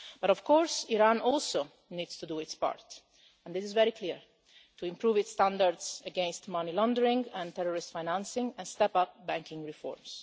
Of course, Iran also needs to do its part and this is very clear to improve its standards against money laundering and terrorist financing and step up banking reforms.